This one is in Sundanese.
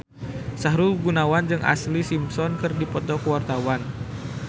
Sahrul Gunawan jeung Ashlee Simpson keur dipoto ku wartawan